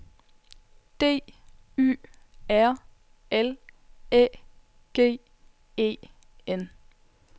D Y R L Æ G E N